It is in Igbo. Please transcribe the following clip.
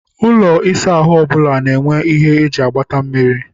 Ụlọ ịsa ahụ ọbụla na-enwe ihe eji agbata mmiri.